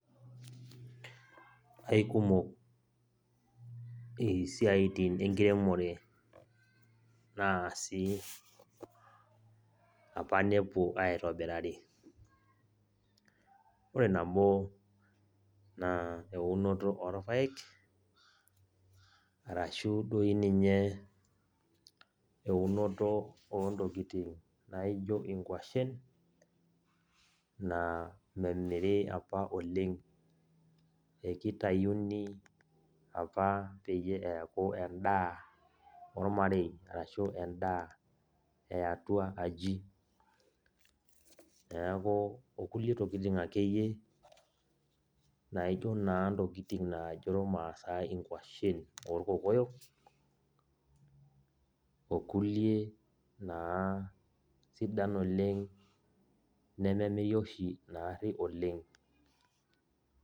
Aikumok isiaitin enkiremore naasi apa nepuo aitobirari. Ore nabo naa eunoto orpaek, arashu doi ninye eunoto ontokiting naijo inkwashen, na memiri apa oleng. Ekitayuni apa peyie eeku endaa ormarei, arashu endaa eatua aji. Neeku okulie tokiting akeyie naijo naa intokiting najo irmaasai inkwashen orkokoyo, okulie naa sidan oleng nememiri oshi naarri oleng.